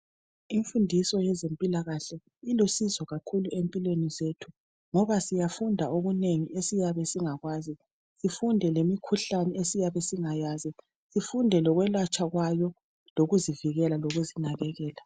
Imfundiso yezempilakahle ilusizo kakhulu empilweni zethu, ngoba siyafunda okunengi, esiyabe singakwazi. Sifunde lemikhuhlane esiyabe singayazi. Sifunde lokwelatshwa kwayo. Lokuzivikela, lokuzinakekela.